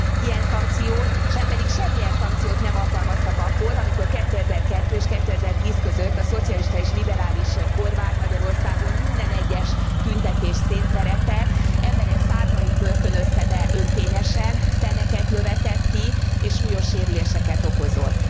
Ilyen szankciót, sem pedig semmilyen szankciót nem alkalmaztak akkor, amikor 2002 és 2010 között a szocialista és liberális kormány Magyarországon minden egyes tüntetést szétveretett, emberek százait börtönözte be önkényesen, szemeket lövetett ki és súlyos sérüléseket okozott.